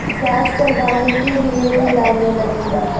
gas चलवाने के लिए भी लाइनें लगी हुई--